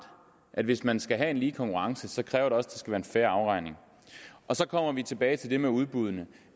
at hvis man skal have en lige konkurrence kræver det også være en fair afregning og så kommer vi tilbage til det med udbuddene